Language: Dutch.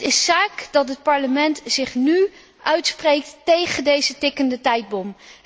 Het is zaak dat het Parlement zich nu uitspreekt tegen deze tikkende tijdbom.